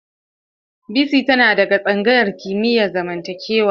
Bisi tana daga tsangayar kimiyar zamantakewa.